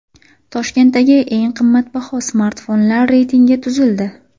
Toshkentdagi eng qimmatbaho smartfonlar reytingi tuzildi.